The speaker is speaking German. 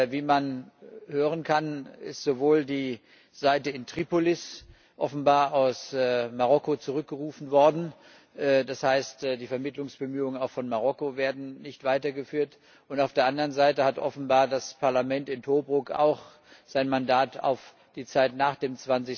Wie man hören kann, ist sowohl die Delegation aus Tripolis offenbar aus Marokko zurückgerufen worden, das heißt, die Vermittlungsbemühungen auch von Marokko werden nicht weitergeführt, und auf der anderen Seite hat offenbar das Parlament in Tobruk auch sein Mandat auf die Zeit nach dem